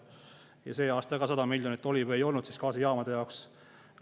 Ja see aasta ka 100 miljonit oli või ei olnud gaasijaamade jaoks.